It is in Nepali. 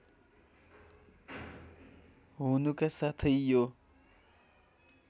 हुनुका साथै यो